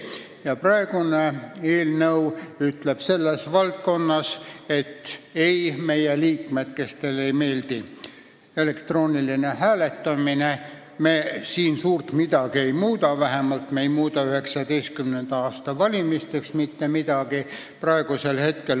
Ka praegu ütleb eelnõu selles valdkonnas nendele, kellele ei meeldi elektrooniline hääletamine, et me siin suurt midagi ei muuda, vähemalt ei muuda me 2019. aasta valimisteks mitte midagi.